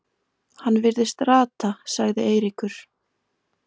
Hann virðist rata sagði Eiríkur.